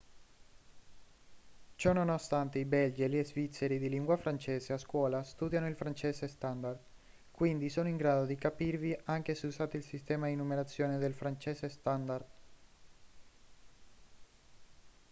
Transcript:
ciononostante il belgi e gli svizzeri di lingua francese a scuola studiano il francese standard quindi sono in grado di capirvi anche se usate il sistema di numerazione del francese standard